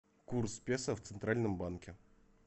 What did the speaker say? курс песо в центральном банке